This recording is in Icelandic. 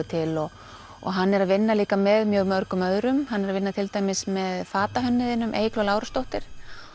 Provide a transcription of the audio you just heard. til og og hann er að vinna líka með mjög mörgum öðrum hann er að vinna til dæmis með Eygló Lárusdóttur